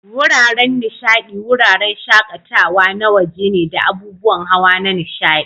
Wuraren nishadi, wuraren shaƙatawa na waje ne da abubuwan hawa na nishaɗi.